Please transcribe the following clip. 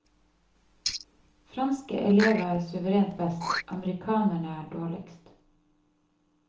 Franske elever er suverent best, amerikanerne dårligst.